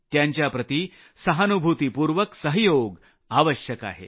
त्यांच्याप्रति सहानुभूतीपूर्वक सहयोग आवश्यक आहे